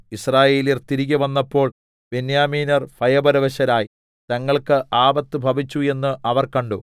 യിസ്രായേല്യർ തിരികെ വന്നപ്പോൾ ബെന്യാമീന്യർ ഭയപരവശരായി തങ്ങൾക്ക് ആപത്തു ഭവിച്ചു എന്ന് അവർ കണ്ടു